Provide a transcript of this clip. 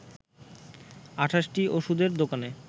২৮টি ওষুধের দোকানে